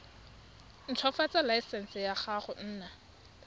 ntshwafatsa laesense ya go nna